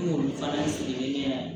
N y'olu fana sigilen ne ye